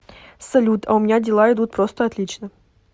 салют а у меня дела идут просто отлично